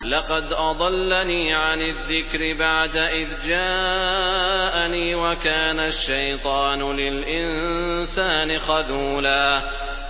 لَّقَدْ أَضَلَّنِي عَنِ الذِّكْرِ بَعْدَ إِذْ جَاءَنِي ۗ وَكَانَ الشَّيْطَانُ لِلْإِنسَانِ خَذُولًا